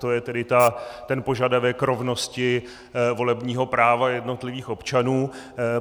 To je tedy ten požadavek rovnosti volebního práva jednotlivých občanů.